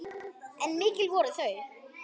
En mikil voru þau.